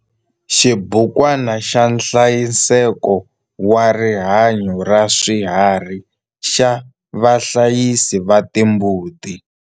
Xibukwana xa nhlayiseko wa rihanyo ra swiharhi xa vahlayisi va timbuti.